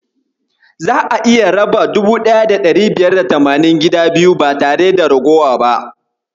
Za'a iya raba 1580 gida biyu ba tare da ragowa ba.